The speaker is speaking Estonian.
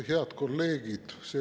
Head kolleegid!